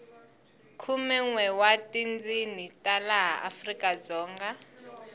khumenwe wa tindzini ta laha afrikadzonga